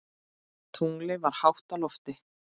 Tunglið var hátt á lofti.